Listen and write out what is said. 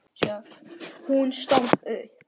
Hún stóð upp.